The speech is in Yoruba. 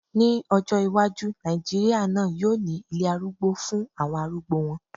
Ní ọjọ́ iwájú, Nàìjíríà náà yóò ní ilé arúgbó fún àwọn arúgbó wọn